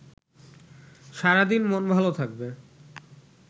সারাদিন মন ভালো থাকবে